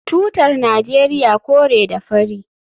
Tutar Najeriya kore da fari